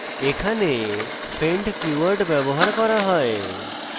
এখানে friend keyword ব্যবহার করা হয়